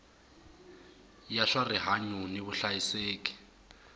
ya swa rihanyu ni vuhlayiseki